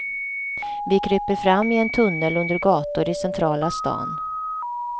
Vi kryper fram i en tunnel under gator i centrala stan.